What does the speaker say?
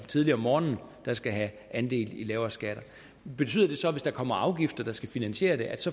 tidligt om morgenen der skal have andel i lavere skatter betyder det så at hvis der kommer afgifter der skal finansieres